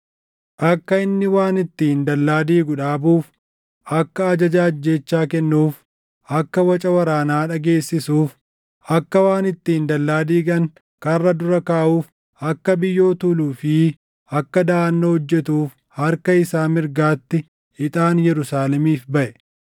Akka inni waan ittiin dallaa diigu dhaabuuf, akka ajaja ajjeechaa kennuuf, akka waca waraanaa dhageessisuuf, akka waan ittiin dallaa diigan karra dura kaaʼuuf, akka biyyoo tuuluu fi akka daʼannoo hojjetuuf harka isaa mirgaatti ixaan Yerusaalemiif baʼe.